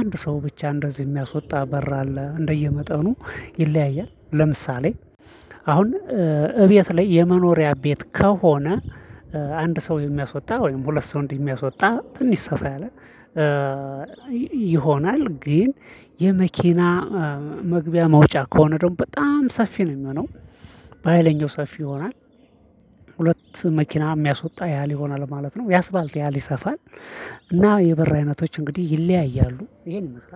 አንድ ሰው ብቻ እንደዚህ የሚያስወጣ በር አለ እንደየመጠኑ ይለያያል ለምሳሌ። አሁን እቤት ላይ የመኖሪያ ቤት ከሆነ አንድ ሰው የሚያስወጣ ወይም ሁለት ሰው የሚያስወጣ ትንሽ ሰፋ ያለ ይሆናል። ግን የመኪና መግቢያ መውጫ ከሆነ ደግሞ በጣም ሰፊ ነው የሚሆነው። በሃይለኛው ሰፊ ይሆናል። ሁለት መኪና የሚያስወጣ ያህል ይሆናል ማለት ነው ያስፋልት ያህል ይሰፋል። እና የበር አይነቶች እንግዲህ ይለያያሉ ይሄን ይመስላል